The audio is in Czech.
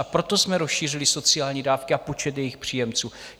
A proto jsme rozšířili sociální dávky a počet jejich příjemců.